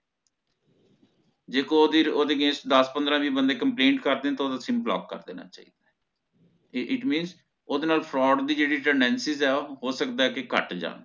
ਜੇ ਓਹਦੇ ਓਹਦੇ against ਦਸ ਪੰਦ੍ਰ ਵੀ complain ਕਰ ਦਿੰਦੇ ਨੇ ਤੇ ਓਹਦਾ ਸਿਮ block ਕਰ ਦੇਣਾ ਚਾਹਿਦਾ it means ਓਹਦੇ ਨਾਲ fraud ਦੀ ਜੇਹੜੀ tendency ਹੈ ਹੋ ਸਕਦਾ ਓਹ ਘਟ ਜਾਣ